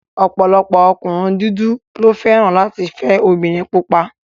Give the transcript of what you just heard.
Ọ̀pọ̀lọpọ̀ ọkùnrin dúdú ló fẹ́ràn láti fẹ́ obìnrin pupa